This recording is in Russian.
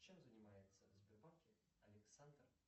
чем занимается в сбербанке александр